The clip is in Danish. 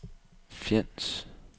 Fjends